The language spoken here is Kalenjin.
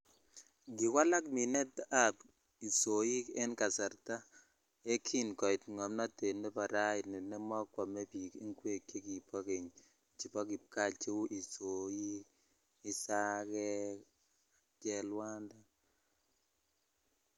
Kiwalak minet ab isoiken kasarta ye kin koit ngomnotet ne bo raini nemokwome bik ingwek chekobo kenye chebo kipkaa cheu isoik ,isagek ak chelwanda.